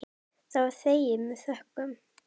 Það var þegið með þökkum.